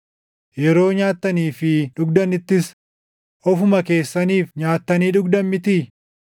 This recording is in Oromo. Yeroo nyaattanii fi dhugdanittis ofuma keessaniif nyaattanii dhugdan mitii?